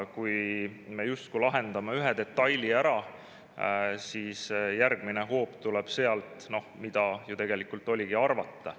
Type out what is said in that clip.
Kui me justkui lahendame ühe detaili ära, siis järgmine hoop tuleb sealt, mida ju tegelikult oligi arvata.